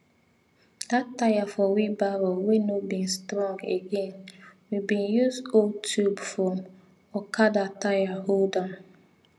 that tire for wheelbarrow wey no bin strong again we bin use old tube from okada tire hold am